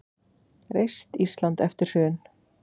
Reist Ísland eftir hrun.